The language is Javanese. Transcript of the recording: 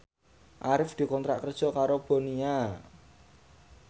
Arif dikontrak kerja karo Bonia